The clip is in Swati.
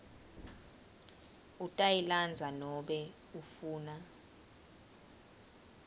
utayilandza nobe ufuna